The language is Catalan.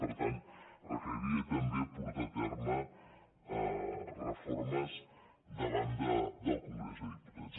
per tant requeriria també portar a ter·me reformes davant del congrés dels diputats